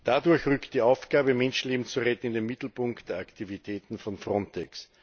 Dadurch rückt die Aufgabe Menschenleben zu retten, in den Mittelpunkt der Aktivitäten von FRONTEX.